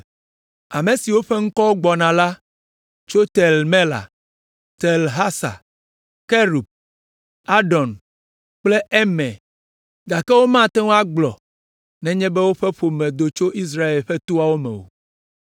Ame siwo ƒe ŋkɔwo gbɔna la tso Tel Mela, Tel Harsa, Kerub, Adon kple Imer, gake womate ŋu agblɔ nenye be woƒe ƒome do tso Israel ƒe toawo me o.